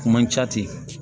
Kuma ca ten